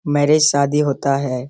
Marriage शादी होता है।